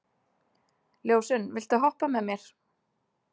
Ljósunn, viltu hoppa með mér?